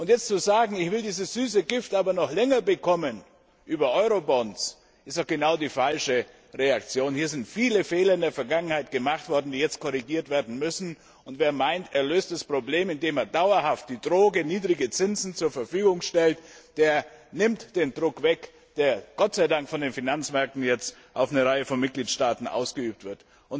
Jetzt zu sagen Ich will dieses süße Gift über Eurobonds aber noch länger bekommen ist doch genau die falsche Reaktion. Hier sind in der Vergangenheit viele Fehler gemacht worden, die jetzt korrigiert werden müssen. Und wer meint, er löse das Problem, indem er dauerhaft die Droge niedrige Zinsen zur Verfügung stellt, der nimmt den Druck weg, der Gott sei Dank von den Finanzmärkten jetzt auf eine Reihe von Mitgliedstaaten ausgeübt wird.